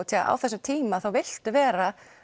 á þessum tíma þá viltu vera